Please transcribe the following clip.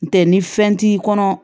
N tɛ ni fɛn t'i kɔnɔ